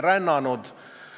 Tänan!